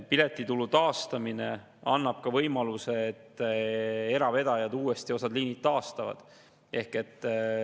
Piletitulu taastamine annab ka võimaluse, et eravedajad taastavad osa liine.